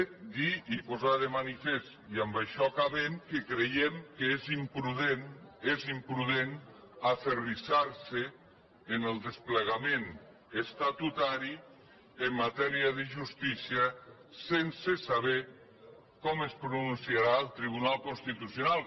també dir i posar de manifest i amb això acabem que creiem que és imprudent aferrissar se en el desplegament estatutari en matèria de justícia sense saber com es pronunciarà el tribunal constitucional